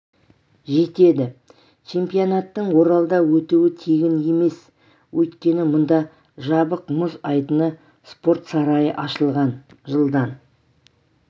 жетеді чемпионаттың оралда өтуі тегін емес өйткені мұнда жабық мұз айдыны спорт сарайы ашылған жылдан